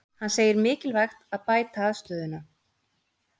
Hann segir mikilvægt að bæta aðstöðuna